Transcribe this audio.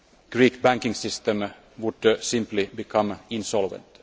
the Greek banking system would simply become insolvent.